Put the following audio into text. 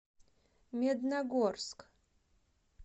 медногорск